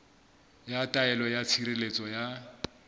ya taelo ya tshireletso ya